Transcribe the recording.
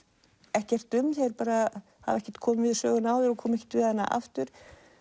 ekkert um þeir bara hafa ekkert komið við söguna áður og koma ekki aftur